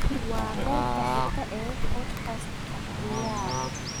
waa qaybta xigta ee podcast ka ciyaar